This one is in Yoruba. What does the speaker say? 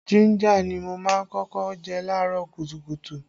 Jínjà ni mo má ń kọ́kọ́ jẹ laarọ kùtùkùtù